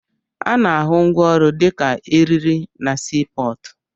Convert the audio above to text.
Ana-ahụ ngwaọrụ dịka eriri na sii pọọtụ.